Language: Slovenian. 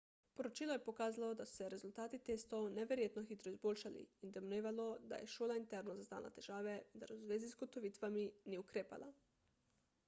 poročilo je pokazalo da so se rezultati testov neverjetno hitro izboljšali in domnevalo da je šola interno zaznala težave vendar v zvezi z ugotovitvami ni ukrepala